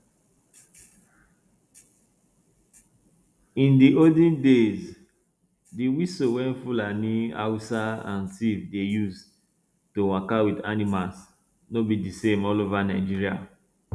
in di olden days di whistle wey fulani hausa and tiv dey use to waka with animals no be di same all over nigeria